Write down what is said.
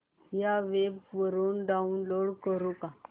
या वेब वरुन डाऊनलोड करू का